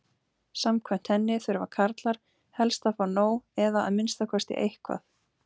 Samkvæmt henni þurfa karlar helst að fá nóg eða að minnsta kosti eitthvað.